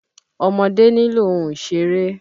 Ọmọdé nílò ohun ìṣéré